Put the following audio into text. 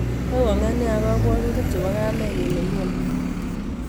Koko'nget nia ak kabwotutik chebo kamenyin nemioni